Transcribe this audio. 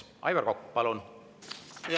Aivar Kokk, palun!